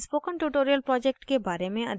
spoken tutorial project के बारे में अधिक जानने के लिए